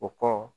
O kɔ